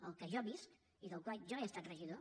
al que jo visc i del qual jo he estat regidor